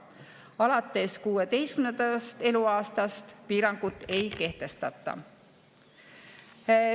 Alates 16. eluaastast piirangut ei kehtestata.